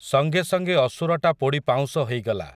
ସଙ୍ଗେ ସଙ୍ଗେ ଅସୁରଟା ପୋଡ଼ି ପାଉଁଶ ହେଇଗଲା ।